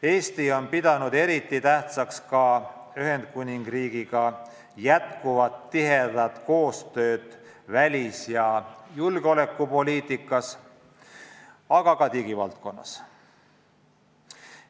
Eesti on pidanud eriti tähtsaks ka jätkuvat koostööd Ühendkuningriigiga välis- ja julgeolekupoliitikas, aga ka digivaldkonnas.